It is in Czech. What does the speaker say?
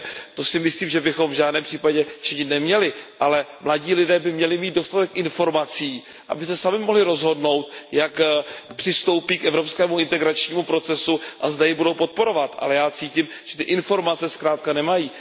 To si myslím, že bychom v žádném případě činit neměli, ale mladí lidé by měli mít dostatek informací, aby se sami mohli rozhodnout, jak přistoupí k evropskému integračnímu procesu a zda jej budou podporovat, ale já cítím, že ty informace zkrátka nemají.